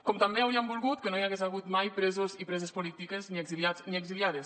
com també hauríem volgut que no hi hagués hagut mai presos i preses polítiques ni exiliats ni exiliades